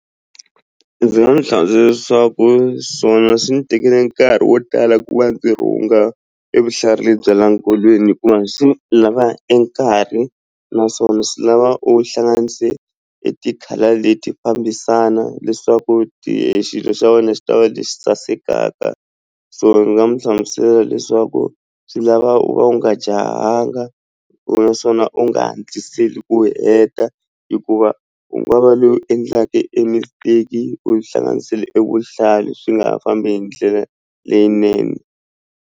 Ndzi nga n'wi leswaku swi ndzi tekele nkarhi wo tala ku va ndzi rhunga evuhlalu bya le nkolweni hikuva swi lava e nkarhi naswona swi lava u hlanganise e ti-colour leti fambisana leswaku xilo xa wena xi ta va lexi sasekaka so ni nga mu hlamusela leswaku swi lava u va u nga jahanga u naswona u nga hatliseli ku heta hikuva u nga va loyi u endlaka e mistake u yi hlanganisile evuhlalu swi nga ha fambi hi ndlela leyinene.